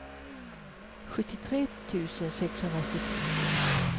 sjuttiotre tusen sexhundrasjuttiotvå